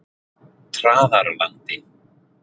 Traðarlandi